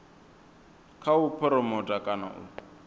kha u phuromotha kana u